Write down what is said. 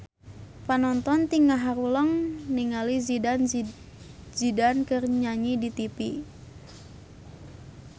Panonton ting haruleng ningali Zidane Zidane keur nyanyi di tipi